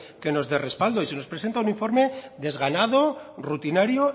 que nos dé respaldo se nos presenta un informe desganado rutinario